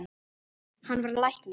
Hann varð læknir.